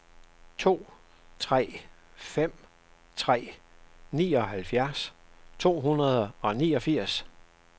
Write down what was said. to tre fem tre nioghalvfjerds to hundrede og niogfirs